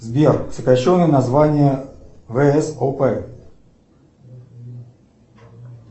сбер сокращенное название вс оп